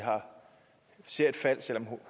ser et fald selv om